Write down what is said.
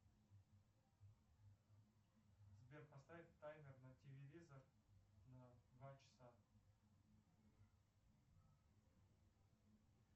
сбер поставь таймер на телевизор на два часа